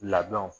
Labɛnw